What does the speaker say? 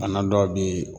A n'a dɔw bi